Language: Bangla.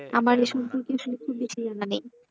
আমার এ সম্পর্কে সত্যি বেশি জানা নেই,